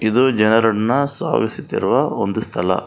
ಇದು ಜನರನ್ನ ಸಾವಿಸುತ್ತಿರುವ ಒಂದು ಸ್ಥಳ.